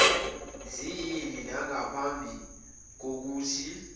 ziyini nangaphambi kokuthi